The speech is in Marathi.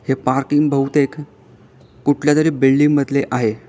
हे पार्किंग बहुतेक कुठल्या तरी बिल्डिंग मधले आहे.